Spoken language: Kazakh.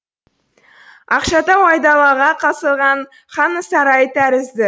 ақшатау айдалаға салған ханның сарайы тәрізді